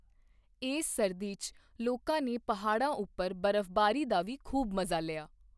ਇਸ ਸਰਦੀ 'ਚ ਲੋਕਾਂ ਨੇ ਪਹਾੜਾਂ ਉੱਪਰ ਬਰਫ਼ਬਾਰੀ ਦਾ ਵੀ ਖੂਬ ਮਜ਼ਾ ਲਿਆ।